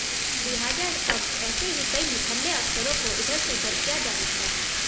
लिहाजा अब ऐसे ही कई निठल्ले अफसरों को इधर से उधर किया जा सकता है